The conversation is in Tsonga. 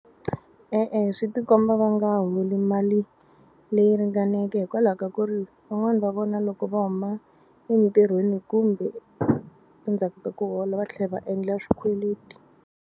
E-e, swi tikomba va nga holi mali leyi ringaneke hikwalaho ka ku ri van'wani va vona loko va huma entirhweni kumbe endzhaku ka ku hola va tlhe va endla swikweleti.